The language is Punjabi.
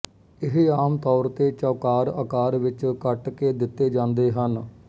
ਇਹ ਆਮ ਤੌਰ ਤੇ ਚੌਕਾਰ ਆਕਾਰ ਵਿੱਚ ਕੱਟ ਕੇ ਦਿੱਤੇ ਜਾਂਦੇ ਹਨ